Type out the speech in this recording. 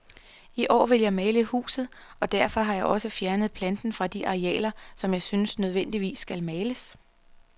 I år vil jeg male huset, og derfor har jeg også fjernet planten fra de arealer, som jeg synes nødvendigvis skal males.